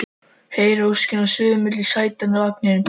Heyri óskina suða milli sætanna í vagninum